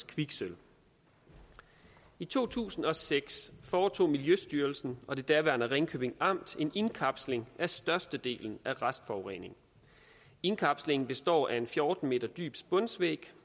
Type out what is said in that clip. kviksølv i to tusind og seks foretog miljøstyrelsen og det daværende ringkøbing amt en indkapsling af størstedelen af restforureningen indkapslingen består af en fjorten m dyb spunsvæg